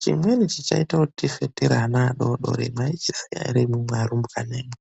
Chinweni chichaita kut tife tiri ana adodori mwaichiziya ere imwimwi arumbwane mwi